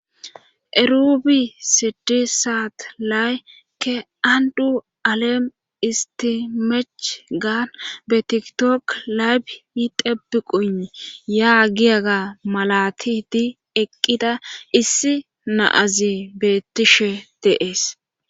Erubi sidi saat laykke andu alem isti mech gaan beetiktok layb yi debi quni yaa giyaga malati di eqqida issi naazi beettishe deees.